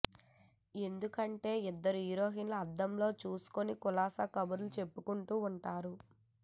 ఎందుకంటే ఇద్దరు హీరోయిన్లు అద్దంలో కలుసుకుని కులాసా కబుర్లు చెప్పేసుకుంటూ వుంటారు